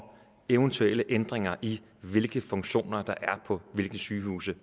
eventuelle ændringer i hvilke funktioner der er på hvilke sygehuse